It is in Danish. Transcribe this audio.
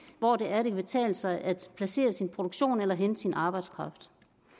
hvor det er det kan betale sig at placere sin produktion eller hente sin arbejdskraft